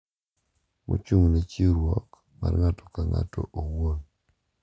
Mochung'ne chiwruok mar ng'ato ka ng'ato owuon.